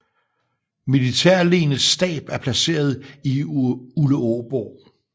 Militærlenets stab er placeret i Uleåborg